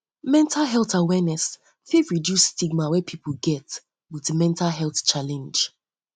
mental health awareness fit reduce di stigma wey pipo get for pipo with mental pipo with mental health challenge